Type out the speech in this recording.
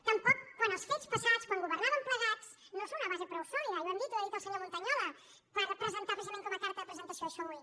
tampoc quan els fets passats quan governàvem plegats no són una base prou solida i ho hem dit i ho ha dit el senyor montañola per presentar precisament com a carta de presentació això avui